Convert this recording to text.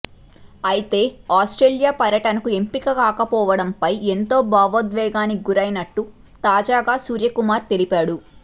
అయితే ఆస్ట్రేలియా పర్యటనకు ఎంపిక కాకపోవడంపై ఎంతో భావోద్వేగానికి గురైనట్టు తాజాగా సూర్యకుమార్ తెలిపాడు